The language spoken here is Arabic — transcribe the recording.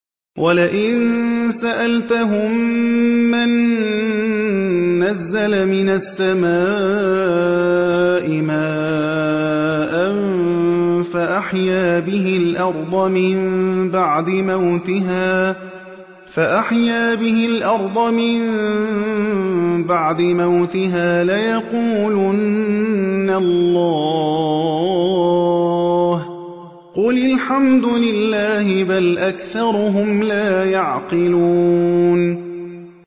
وَلَئِن سَأَلْتَهُم مَّن نَّزَّلَ مِنَ السَّمَاءِ مَاءً فَأَحْيَا بِهِ الْأَرْضَ مِن بَعْدِ مَوْتِهَا لَيَقُولُنَّ اللَّهُ ۚ قُلِ الْحَمْدُ لِلَّهِ ۚ بَلْ أَكْثَرُهُمْ لَا يَعْقِلُونَ